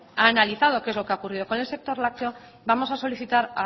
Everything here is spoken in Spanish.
ha analizado qué es lo que ha ocurrido con el sector lácteo vamos a solicitar